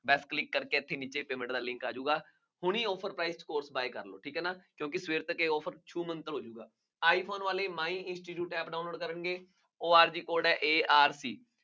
ਬੱਸ click ਕਰਕੇ ਅੱਗੇ ਫੇਰ payment ਦਾ link ਆ ਜਾਊਗਾ, ਹੁਣੀ offer price ਠੀਕ ਹੈ ਨਾ, ਜਦਕਿ ਸਵੇਰ ਤੱਕ ਇਹ offer ਹੋ ਜਾਊ, ਆਈਫੋਨ ਵਾਲੇ App download ਕਰਕੇ org code ਹੈ arc